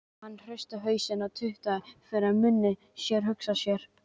Hann hristi hausinn og tautaði fyrir munni sér: Hugsa sér.